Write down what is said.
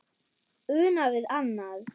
Una við annað.